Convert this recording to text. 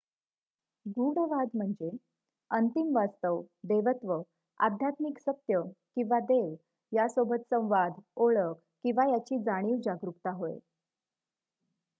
गूढवाद म्हणजे अंतिम वास्तव देवत्व आध्यात्मिक सत्य किंवा देव यासोबत संवाद ओळख किंवा याची जाणीव जागरूकता होय